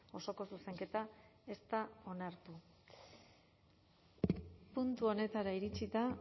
osoko zuzenketa ez da onartu puntu honetara iritsita